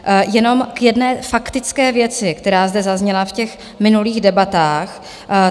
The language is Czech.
Jenom k jedné faktické věci, která zde zazněla v těch minulých debatách.